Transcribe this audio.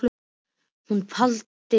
Að hún haldi áfram að blekkja sjálfa sig.